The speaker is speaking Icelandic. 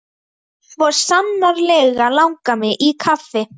Skjaldvararfossi en seinast í Krossdal í Tálknafirði.